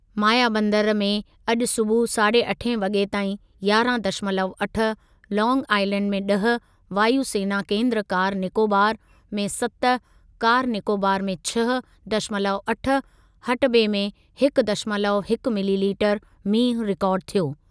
मायाबंदर में अॼु सूबुह साढ़े अठे वॻे ताईं यारहं दशमलव अठ, लांग आइलैंड में ॾह, वायु सेना केन्द्र कार निकोबार में सत कार निकोबार में छह दशमलव अठ, हटबे में हिक दशमलव हिक मिलीलीटर मींहुं रिकार्ड थियो।